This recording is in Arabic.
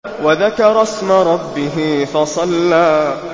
وَذَكَرَ اسْمَ رَبِّهِ فَصَلَّىٰ